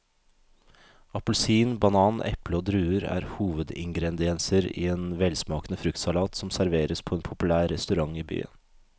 Appelsin, banan, eple og druer er hovedingredienser i en velsmakende fruktsalat som serveres på en populær restaurant i byen.